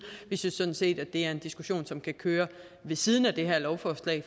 vi synes sådan set at det er en diskussion som kan køre ved siden af det her lovforslag